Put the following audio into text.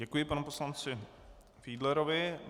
Děkuji panu poslanci Fiedlerovi.